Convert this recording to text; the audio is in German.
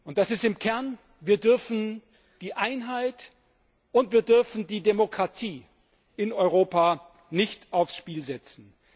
Das ist im Kern Wir dürfen die Einheit und die Demokratie in Europa nicht aufs Spiel setzen!